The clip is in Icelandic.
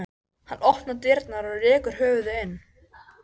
Ég held að Silla vilji ekki sjá það endurtaka sig.